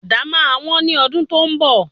Àdá máa wón ní ọdún tí ó ń bọ̀.